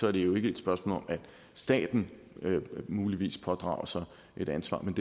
er det jo ikke et spørgsmål om at staten muligvis pådrager sig et ansvar men